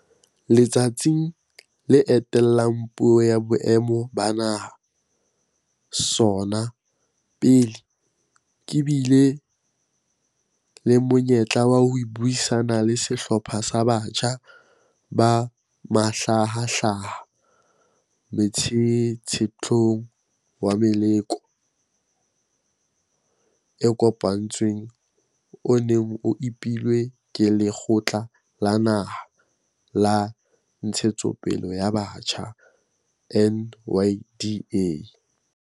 Letsatsing le etellang la Puo ya Boemo ba Naha, SoNA, pele, ke bile le monyetla wa ho buisana le sehlopha sa batjha ba mahlahahlaha motshetshethong wa meloko e kopantsweng o neng o epilwe ke Lekgotla la Naha la Ntshetsopele ya Batjha, NYDA.